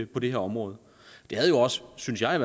på det her område det havde jo også synes jeg